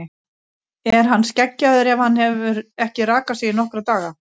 Er hann skeggjaður ef hann hefur ekki rakað sig í nokkra daga?